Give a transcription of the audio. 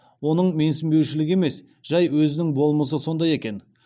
оның менсінбеушілігі емес жай өзінің болмысы сондай екен